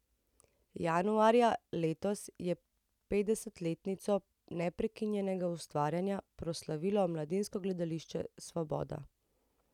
Januarja letos je petdesetletnico neprekinjenega ustvarjanja proslavilo Mladinsko gledališče Svoboda.